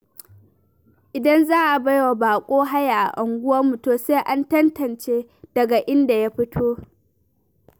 Idan za a baiwa baƙo haya a unguwar mu, to sai an tantance daga inda ya fito.